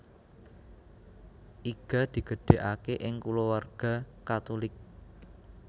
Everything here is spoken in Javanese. Iga digedhegake ing kulawarga Katulik